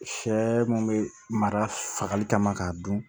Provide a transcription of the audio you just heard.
Sɛ mun bɛ mara fagali kama k'a dun